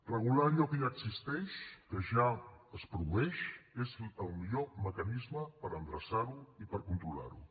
regular allò que ja existeix que ja es produeix és el millor mecanisme per endreçar ho i per controlar ho